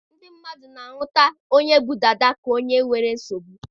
Ndị mmadụ na-ahụta onye bu dada ka onye nwere nsogbu